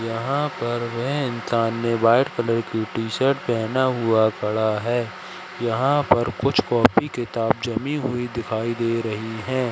यहां पर वे इंसान ने व्हाइट कलर की टी शर्ट पहना हुआ खड़ा है यहां पर कुछ कॉपी किताब जमी हुई दिखाई दे रही है।